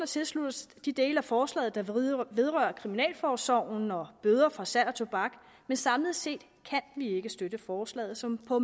tilslutte os de dele af forslaget der vedrører kriminalforsorgen og bøder for salg af tobak men samlet set kan vi ikke støtte forslaget som på